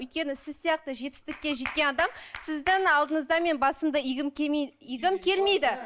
өйткені сіз сияқты жетістікке жеткен адам сіздің алдыңызда мен басымды игім игім келмейді